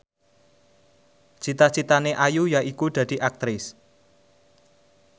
cita citane Ayu yaiku dadi Aktris